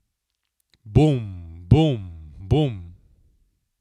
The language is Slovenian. Bum, bum, bum.